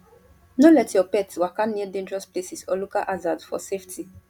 no let your pet waka near dangerous places or local hazards for safety